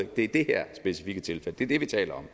i det her specifikke tilfælde det er det vi taler